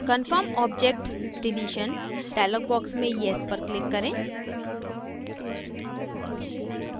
confirm object deletion dialog box में yes पर click करें